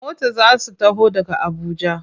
A mota za su taho daga Abuja.